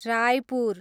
Raipur